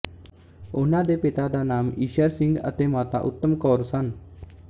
ਉਹਨਾਂ ਦੇ ਪਿਤਾ ਦਾ ਨਾਮ ਈਸ਼ਰ ਸਿੰਘ ਅਤੇ ਮਾਤਾ ਉਤਮ ਕੌਰ ਸਨ